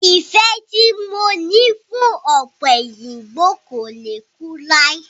Ìfẹ tí mo ní fún ọ̀pẹ̀yìnbo kò le kú lai.